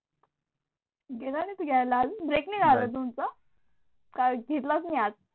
गेला नाही तू घायला अजून? ब्रेक नाही झाला का तुमचा? काय घेतलास नाही आज?